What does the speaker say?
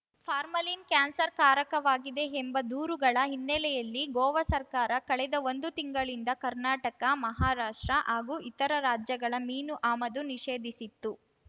formalin ಕ್ಯಾನ್ಸರ್‌ಕಾರಕವಾಗಿದೆ ಎಂಬ ದೂರುಗಳ ಹಿನ್ನೆಲೆಯಲ್ಲಿ ಗೋವಾ ಸರ್ಕಾರ ಕಳೆದ ಒಂದು ತಿಂಗಳಿಂದ ಕರ್ನಾಟಕ ಮಹಾರಾಷ್ಟ್ರ ಹಾಗೂ ಇತರ ರಾಜ್ಯಗಳ ಮೀನು ಆಮದು ನಿಷೇಧಿಸಿತ್ತು